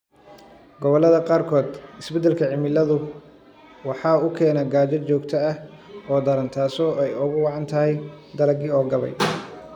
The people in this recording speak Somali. Gobollada qaarkood, isbeddelka cimiladu waxa uu keenaa gaajo joogto ah oo daran taas oo ay ugu wacan tahay dalaggii oo gabay.